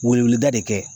Weleweleda de kɛ